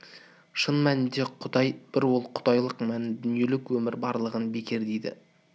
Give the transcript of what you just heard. шын мәнінде құдай бір ол құдайлық мәнін дүниелік өмір барлығын бекер дейді